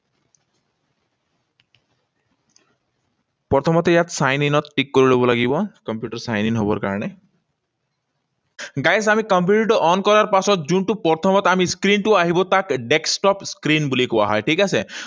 প্ৰথমতে ইয়াত sign in ত click কৰিব লাগিব কম্পিউটাৰ sign in হবৰ কাৰণে। Guys, আমি কম্পিউটাৰটো on কৰাৰ পাছত যোনটো প্ৰথমত আমি screen টো আহিব, তাক desktop screen বুলি কোৱা হয়, ঠিক আছে?